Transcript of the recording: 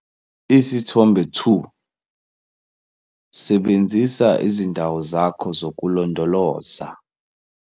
Isithombe 2- Sebenzisa izindawo zakho zokulondoloza.